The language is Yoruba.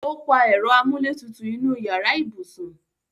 O pa ẹ̀rọ amúlétutù inu yàrá ibùsùn